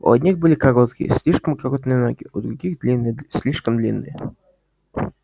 у одних были короткие слишком короткие ноги у других длинные слишком длинные